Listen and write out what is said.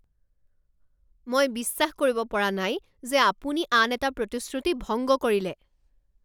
মই বিশ্বাস কৰিব পৰা নাই যে আপুনি আন এটা প্ৰতিশ্ৰুতি ভংগ কৰিলে